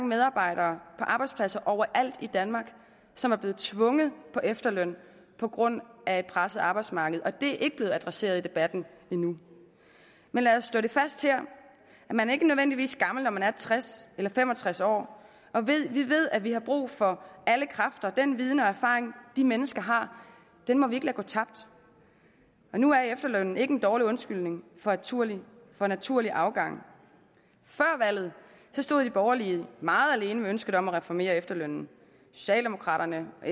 medarbejdere på arbejdspladser overalt i danmark som er blevet tvunget på efterløn på grund af et presset arbejdsmarked og det er ikke blevet adresseret i debatten endnu men lad os slå fast her at man ikke nødvendigvis er gammel når man er tres eller fem og tres år vi ved at vi har brug for alle kræfter og den viden og erfaring de mennesker har må vi ikke lade gå tabt og nu er efterlønnen ikke en dårlig undskyldning for naturlig for naturlig afgang før valget stod de borgerlige meget alene med ønsket om at reformere efterlønnen socialdemokraterne og